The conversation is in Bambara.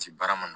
Si baara ma nɔgɔn